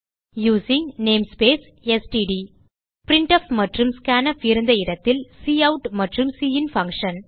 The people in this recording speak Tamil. யூசிங் நேம்ஸ்பேஸ் ஸ்ட்ட் பிரின்ட்ஃப் மற்றும் ஸ்கான்ஃப் இருந்த இடத்தில் கவுட் மற்றும் சின் பங்ஷன்